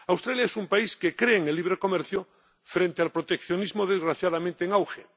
Australia es un país que cree en el libre comercio frente al proteccionismo desgraciadamente en auge.